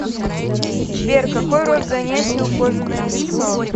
сбер какой род занятий у кожаное лицо